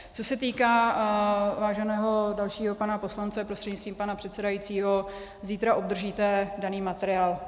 Co se týká váženého dalšího pana poslance prostřednictvím pana předsedajícího, zítra obdržíte daný materiál.